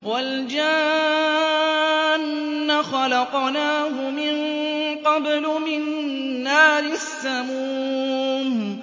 وَالْجَانَّ خَلَقْنَاهُ مِن قَبْلُ مِن نَّارِ السَّمُومِ